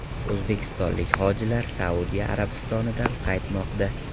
O‘zbekistonlik hojilar Saudiya Arabistonidan qaytmoqda.